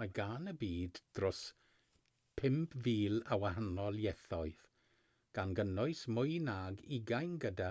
mae gan y byd dros 5,000 o wahanol ieithoedd gan gynnwys mwy nag ugain gyda